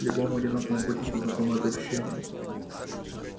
любому одинокому путнику знакомо это ощущение